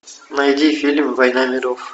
найди фильм война миров